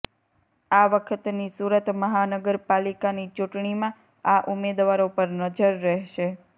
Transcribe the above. આ વખતની સુરત મહાનગરપાલિકાની ચૂંટણીમાં આ ઉમેદવારો પર નજર રહેશે